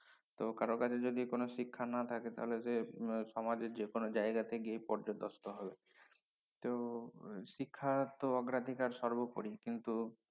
তো কারো কাছে যদি কোনো শিক্ষা না থাকে তাহলে সে উম সমাজে যে কোনো জায়গাতে গিয়েই পর্যদস্তুু হবে তো শিক্ষার তো অগ্রাধিকার সর্বপরি কিন্তু